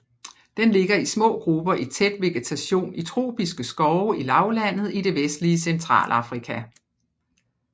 Den lever i små grupper i tæt vegetation i tropiske skove i lavlandet i det vestlige Centralafrika